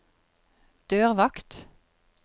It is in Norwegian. dørvakt